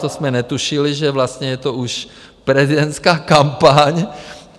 To jsme netušili, že vlastně je to už prezidentská kampaň.